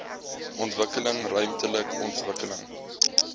ontwikkeling ruimtelike ontwikkeling